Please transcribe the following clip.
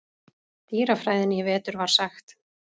dýrafræðinni í vetur var sagt.